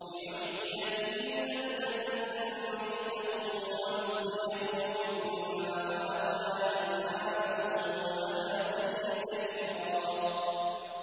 لِّنُحْيِيَ بِهِ بَلْدَةً مَّيْتًا وَنُسْقِيَهُ مِمَّا خَلَقْنَا أَنْعَامًا وَأَنَاسِيَّ كَثِيرًا